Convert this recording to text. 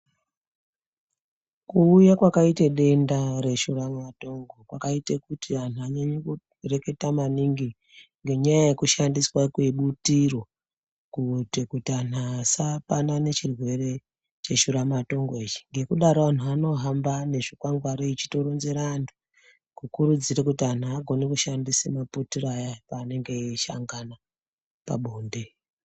Kuuya kwakaite denda reshuramatongo kwakaite kuti anhu anyanye kureketa maningi, ngenyaya yekushandiswa kwebutiro kuite kuti anhu asapanane chirwere cheshuramatongo ichi. Ngekudaro anhu anohamba nezvikwangwari echitorenzera antu kukurudzire kuti anhu agone kushandisa maputiro ayani paanenge eishangana pabonde.